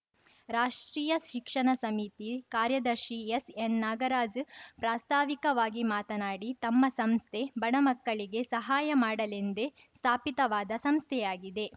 ರಾಷ್ಟ್ರೀಯ ಶಿಕ್ಷಣ ಸಮಿತಿ ಕಾರ್ಯದರ್ಶಿ ಎಸ್‌ ಎನ್‌ ನಾಗರಾಜ್ ಪ್ರಾಸ್ತಾವಿಕವಾಗಿ ಮಾತನಾಡಿ ತಮ್ಮ ಸಂಸ್ಥೆ ಬಡ ಮಕ್ಕಳಿಗೆ ಸಹಾಯ ಮಾಡಲೆಂದೇ ಸ್ಥಾಪಿತವಾದ ಸಂಸ್ಥೆಯಾಗಿದೆ